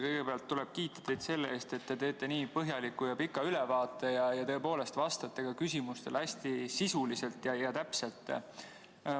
Kõigepealt tuleb kiita teid selle eest, et te teete nii põhjaliku ja pika ülevaate ja tõepoolest vastate ka küsimustele hästi sisuliselt ja täpselt.